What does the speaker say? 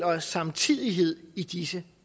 os samtidighed i disse